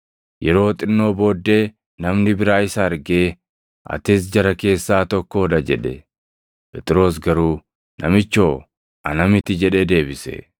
Yeroo xinnoo booddee namni biraa isa argee, “Atis jara keessaa tokkoo dha” jedhe. Phexros garuu, “Namichoo, ana miti” jedhee deebise.